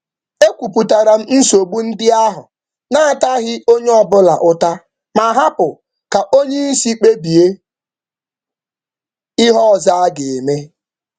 M kọwara ihe ịma aka ahụ n’ebughị ụzọ ụta onye ọ bụla, na-ekwe ka oga kpebie ihe ọzọ.